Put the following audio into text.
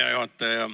Hea juhataja!